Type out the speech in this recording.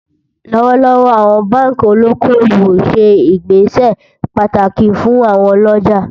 lówó lówó, àwọn bánkì olókó owó ṣé ìgbésẹ pàtàkì fún àwon olójà